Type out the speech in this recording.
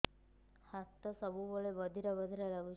ହାତ ସବୁବେଳେ ବଧିରା ବଧିରା ଲାଗୁଚି